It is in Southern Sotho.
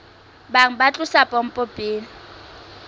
bang ba tlosa pompo pele